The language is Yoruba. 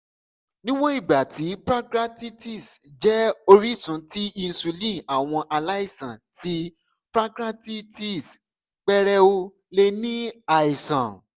niwọn igba ti pancreatitis jẹ orisun ti insulin awọn alaisan ti pancreatitis pẹrẹu le ni aisan